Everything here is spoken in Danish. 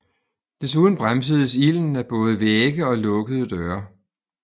Desuden bremsedes ilden af både vægge og lukkede døre